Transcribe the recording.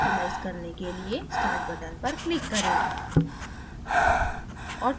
optimize करने के लिए start button पर click करें